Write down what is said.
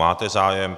Máte zájem.